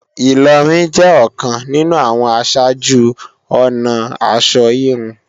Ìlọrin jẹ́ ọ̀kan nínú àwọn aṣáájú-ọnà aṣọ híhun